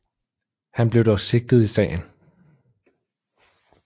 Han blev dog sigtet i sagen